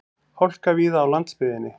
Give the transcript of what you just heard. Hálka víða á landsbyggðinni